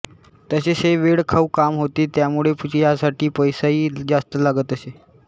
तसेच हे वेळखाऊ काम होते त्यामुळे ह्यासाठी पैसाही जास्त लागत असे